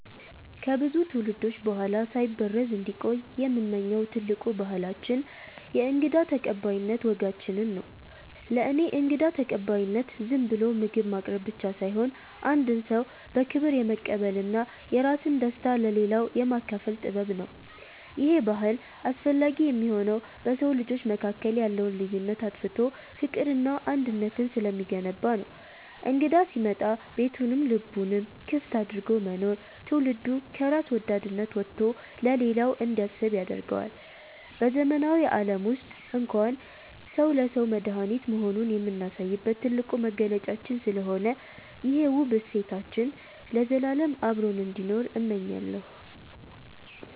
ከብዙ ትውልዶች በኋላ ሳይበረዝ እንዲቆይ የምመኘው ትልቁ ባህላችን የእንግዳ ተቀባይነት ወጋችንን ነው። ለእኔ እንግዳ ተቀባይነት ዝም ብሎ ምግብ ማቅረብ ብቻ ሳይሆን፣ አንድን ሰው በክብር የመቀበልና የራስን ደስታ ለሌላው የማካፈል ጥበብ ነው። ይሄ ባህል አስፈላጊ የሚሆነው በሰው ልጆች መካከል ያለውን ልዩነት አጥፍቶ ፍቅርንና አንድነትን ስለሚገነባ ነው። እንግዳ ሲመጣ ቤቱንም ልቡንም ክፍት አድርጎ መኖር፣ ትውልዱ ከራስ ወዳድነት ወጥቶ ለሌላው እንዲያስብ ያደርገዋል። በዘመናዊው ዓለም ውስጥ እንኳን ሰው ለሰው መድኃኒት መሆኑን የምናሳይበት ትልቁ መገለጫችን ስለሆነ፣ ይሄ ውብ እሴታችን ለዘላለም አብሮን እንዲኖር እመኛለሁ።